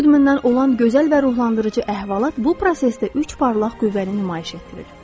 Katie Goodman-dan olan gözəl və ruhlandırıcı əhvalat bu prosesdə üç parlaq qüvvəni nümayiş etdirir.